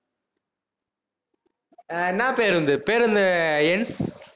ஆஹ் என்ன பேருந்து, பேருந்து எண்.